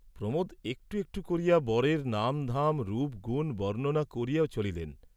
প্রমোদ একটু একটু করিয়া বরের নামধাম রূপগুণ বর্ণনা করিয়া চলিলেন।